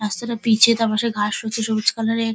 রাস্তাটা পিচ -এর তার পাশে ঘাস রয়েছে সবুজ কালার -এর।